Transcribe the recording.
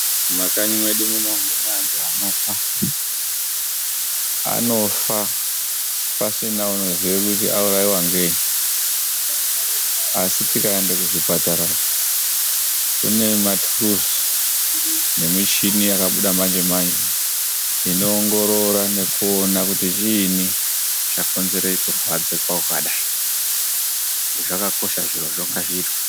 Mumakanyi mwedu muno mune antu anofa. Anofa pasina neunoziya kuti auraiwa ngei. Asi tikaende kuzvipatara, kune maturuzi nemischini yakabuda manje-manje inoongorora nekuona kuti chiini chakonzera kurwadza kwakadai. Zvakakosha zvirozvo, ngazviitwe.